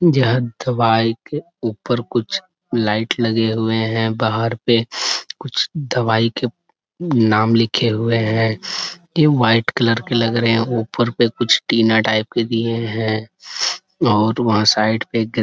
जहा दवाई के ऊपर कुछ लाइट लगे हुए हैं बाहर पे कुछ दवाई के नाम लिखे हुए हैं क्यों व्हाइट कलर के लग रहे हैं ऊपर पे कुछ टीना टाइप के दिए हैं और वहा साइड पे गे--